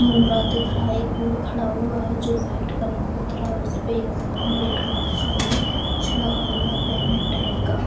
दिख रहा है एक दूर खड़ा हुआ है जो वाइट कलर का है | उसपे एक सामने एक रेड कलर का भी कुछ लगा हुआ है बैनर टाइप का |